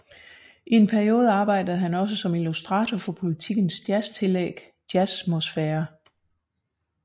I en periode arbejdede han også som illustrator for Politikens jazztillæg Jazzmosfære